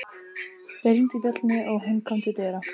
Þeir hringdu bjöllunni og hún kom til dyra.